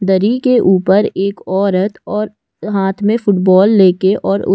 दरी के ऊपर एक औरत और हाथ में फुटबॉल लेके और उ--